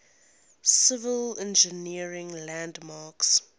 civil engineering landmarks